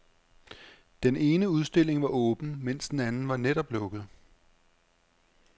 Den ene udstilling var åben, men den anden var netop lukket.